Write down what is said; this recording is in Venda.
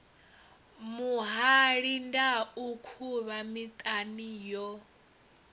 muhali ndau khuvha miṱana yo